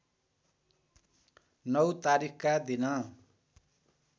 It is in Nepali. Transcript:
नौ तारिखका दिन